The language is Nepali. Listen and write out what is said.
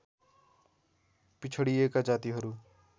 पिछडिएका जातिहरू